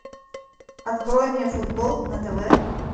открой мне футбол на тв